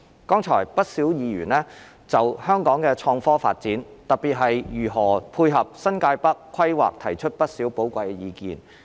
剛才不少議員就香港的創科發展，特別是如何配合新界北規劃，提出了不少寶貴意見。